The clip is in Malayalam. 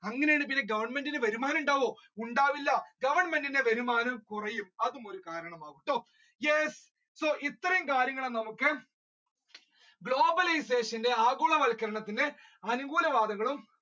അങ്ങനത്ത ഒരു സ്ഥിതിയിൽ ഗവെർന്മേന്റിന് ഒരു വരുമാനം ഉണ്ടാകുവോ ഉണ്ടാകില്ല ഗവർമെന്റിന്റെ വരുമാനം കുറയും അതും ഒരു കാരണമാണ് so yes ഇത്രയൂം കാര്യങ്ങളാണ് നമ്മുക്ക് globalisation ആഗോളവത്ക്കരണത്തിന്റെ അനുകൂല വാദങ്ങളും